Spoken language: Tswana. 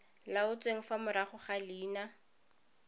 laotsweng fa morago ga leina